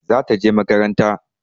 Za ta je makaranta.